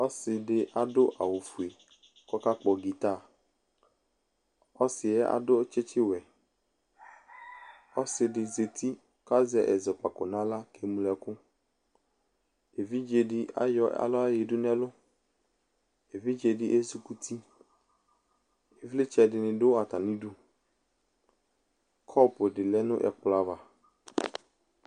Ɔse de ado awufue kɔla kpɔ gitaƆsiɛ ado tsetsewɛ Ɔse de zati kazɛ ɛzɔkpako nahla ke ñlo ɛkuEvidze de ayɔ ala yadu nɛlu Evidze de ezukuti Evletsɛ de ne do atame du Kɔpu de lɛ no ɛkolɔ ava